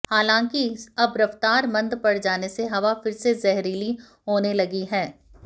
हालांकि अब रफ्तार मंद पड़ जाने से हवा फिर से जहरीली होने लगी है